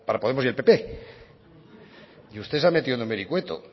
podemos y el pp y usted se ha metido en un vericueto